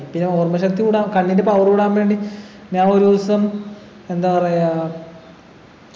പിന്നെ ഓർമശക്തി കൂടാൻ കണ്ണിൻ്റെ power കൂടാൻ വേണ്ടി ഞാൻ ഒരൂസം എന്താ പറയാ